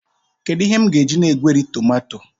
Kedu ihe m ga-eji na-egweri tomato?